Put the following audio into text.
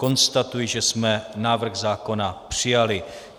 Konstatuji, že jsme návrh zákona přijali.